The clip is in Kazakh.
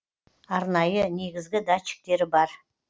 арнайы негізгі датчиктері бар